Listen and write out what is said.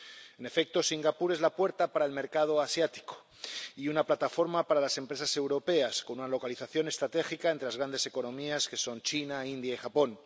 En efecto, Singapur es la puerta para el mercado asiático y una plataforma para las empresas europeas, con una localización estratégica entre las grandes economías que son China, India y Japón.